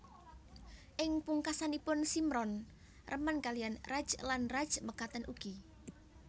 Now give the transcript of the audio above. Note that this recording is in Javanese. Ing pungkasanipun Simran remen kaliyan Raj lan Raj mekaten ugi